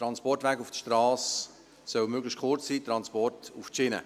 Transportwege auf der Strasse sollen möglichst kurz sein, Transporte auf die Schiene.